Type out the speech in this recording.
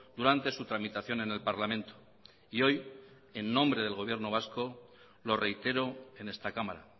durante su tramitación en el parlamento y hoy en nombre del gobierno vasco lo reitero en esta cámara